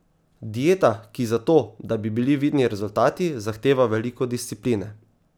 Dieta, ki za to, da bi bili vidni rezultati, zahteva veliko discipline.